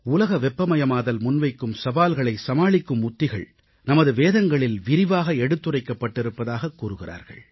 உலக வெப்பமயமாதல் முன்வைக்கும் சவால்களை சமாளிக்கும் உத்திகள் நமது வேதங்களில் விரிவாக எடுத்துரைக்கப்பட்டிருப்பதாக கூறுகிறார்கள்